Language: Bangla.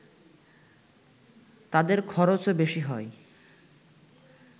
তাদের খরচও বেশি হয়